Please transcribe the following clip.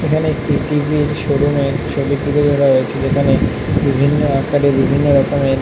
এখানে একটি টি.ভি. - র শোরুম - এর ছবি তুলে ধরা হয়েছে এখানে বিভিন্ন আকারে বিভিন্ন রকমের --